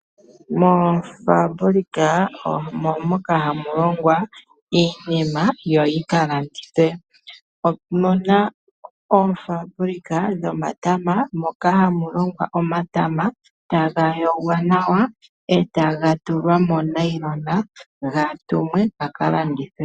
Mofambulika oomoka hamu longwa iinima yo yi kalandithwe. Opuna oofambulika dho matama moka hamu longwa omatama, taga yogwa nawa eta tulwa mo nayilona , gatumwe ga kalandithwe.